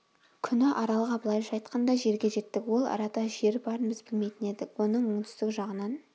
күні аралға былайша айтқанда жерге жеттік ол арада жер барын біз білмейтін едік оның оңтүстік жағынан